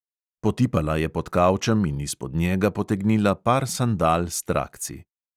Potipala je pod kavčem in izpod njega potegnila par sandal s trakci.